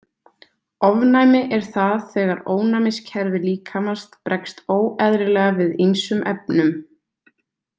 Ofnæmi er það þegar ónæmiskerfi líkamans bregst óeðlilega við ýmsum efnum.